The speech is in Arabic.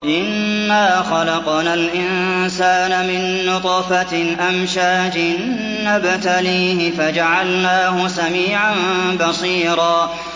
إِنَّا خَلَقْنَا الْإِنسَانَ مِن نُّطْفَةٍ أَمْشَاجٍ نَّبْتَلِيهِ فَجَعَلْنَاهُ سَمِيعًا بَصِيرًا